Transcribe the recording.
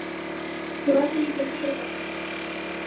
Þú verður líka að gera eitt fyrir mig.